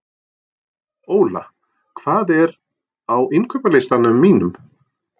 Óla, hvað er á innkaupalistanum mínum?